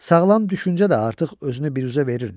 Sağlam düşüncə də artıq özünü biruzə verirdi.